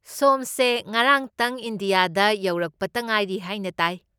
ꯁꯣꯝꯁꯦ ꯉꯔꯥꯡꯇꯪ ꯏꯟꯗꯤꯌꯥ ꯌꯧꯔꯛꯄꯇ ꯉꯥꯏꯔꯤ ꯍꯥꯏꯅ ꯇꯥꯏ꯫